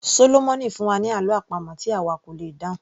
Sólómọ̀mì fún wa ní àlọ́ àpamọ̀ tí àwa kò lè dáhùn